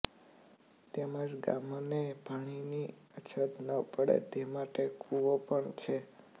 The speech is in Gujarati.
તેમજ ગામને પાણીની અછત ન પડે તે માટે કુવો પણ છે